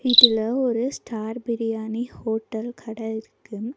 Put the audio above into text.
இதுல ஒரு star biryani hotel கட இருக்கு.